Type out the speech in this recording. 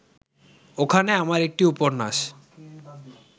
ওখানে আমার একটি উপন্যাস